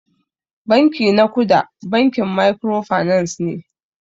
Banki na kuda bankin microfinance ne.